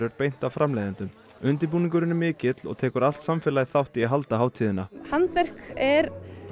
beint af framleiðendum undirbúningurinn er mikill og tekur allt samfélagið þátt í að halda hátíðina handverk er